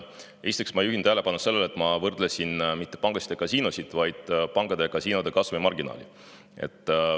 Esiteks juhin ma tähelepanu, et ma võrdlesin mitte pankasid ja kasiinosid, vaid pankade ja kasiinode kasumimarginaali.